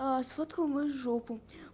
сфоткал мою жопу